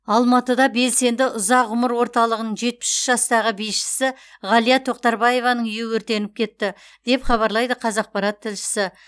алматыда белсенді ұзақ ғұмыр орталығының жетпіс үш жастағы бишісі ғалия тоқтарбаеваның үйі өртеніп кетті деп хабарлайды қазақпарат тілшісі